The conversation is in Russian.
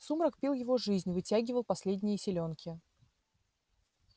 сумрак пил его жизнь вытягивал последние силёнки